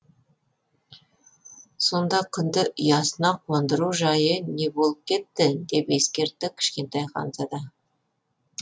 сонда күнді ұясына қондыру жайы не болып кетті деп ескертті кішкентай ханзада